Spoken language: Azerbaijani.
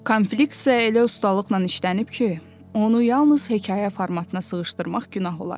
Konflikt isə elə ustalıqla işlənib ki, onu yalnız hekayə formatına sığışdırmaq günah olar.